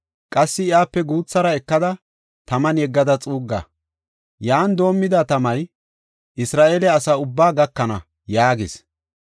Qassi iyape guuthara ekada, taman yeggada xuugga. Yan doomida tamay Isra7eele asa ubbaa gakana” yaagis.